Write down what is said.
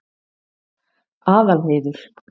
Aðalheiður